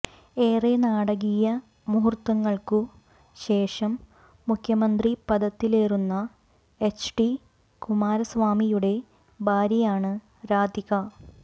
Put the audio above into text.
ഏറെ നാടകീയ മുഹൂര്ത്തങ്ങള്ക്കു ശേഷം മുഖ്യമന്ത്രി പദത്തിലേറുന്ന എച്ച്ഡി കുമാരസ്വാമിയുടെ ഭാര്യയാണ് രാധിക